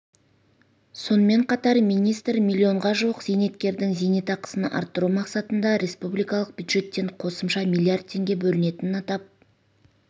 сонымен қатар министр миллионға жуық зейнеткердің зейнетақысын арттыру мақсатында республикалық бюджеттен қосымша миллиард теңге бөлінетінін атап